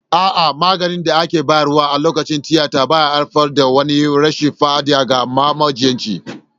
A'a, maganin da aka bayar a lokacin tiyata bai haifar da wani rashin fa'ida ga ma majinyacin.